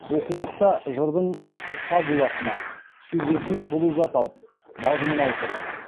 окулықта жырдың фабуласына сюжетіне шолу жасалып мазмұны айтылған